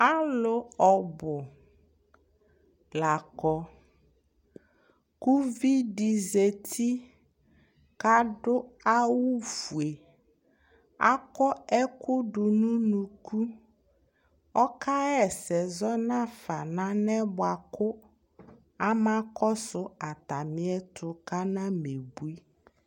Alu ɔbu lakɔ ku uvidi zati kadu awu ofue akɔ ɛku du nu unuku ɔka wa ɛsɛ zɔ nafa nalɛ na yɛ ama kɔsu atamiɛtu kanamebui